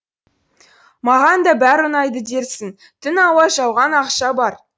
маған да бәрі ұнайды дерсің түн ауа жауған ақша қар